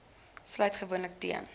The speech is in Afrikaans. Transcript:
sluit gewoonlik teen